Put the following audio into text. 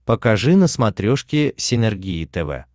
покажи на смотрешке синергия тв